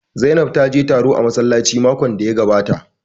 Zainab ta je taro a massalaci makon da ya gabata